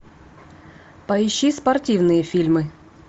поищи спортивные фильмы